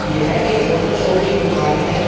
यह एक photo shop की दुकान है।